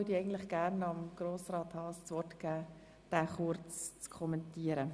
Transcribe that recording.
Gerne erteile ich Grossrat Haas das Wort, damit er diesen Antrag kurz kommentiert.